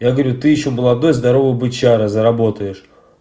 я говорю ты ещё молодой здоровый бычара заработаешь